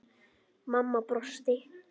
Mamma brosti.